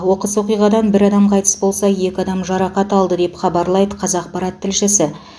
оқыс оқиғадан бір адам қайтыс болса екі адам жарақат алды деп хабарлайды қазақпарат тілшісі